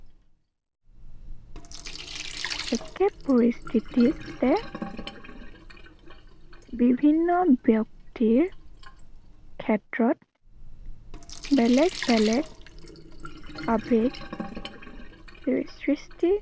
একে পৰিস্থিতিতে বিভিন্ন ব্য়ক্তিৰ ক্ষেত্ৰত বেলেগ বেলেগ আবেগ সৃষ্টি